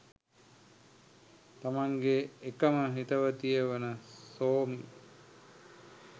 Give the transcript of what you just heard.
තමන්ගේ එකම හිතවතිය වන සෝමි